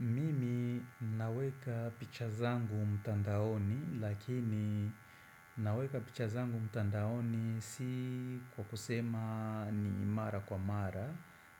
Mimi naweka picha zangu mtandaoni lakini naweka picha zangu mtandaoni si kwa kusema ni mara kwa mara